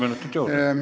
Palun!